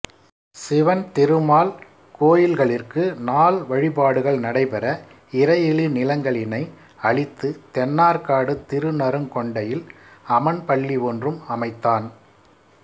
சிவன் திருமால் கோயில்களிற்கு நாள் வழிபாடுகள் நடைபெற இறையிலி நிலங்களினை அளித்து தென்னார்க்காடு திருநறுங் கொண்டையில் அமண்பள்ளி ஒன்றும் அமைத்தான்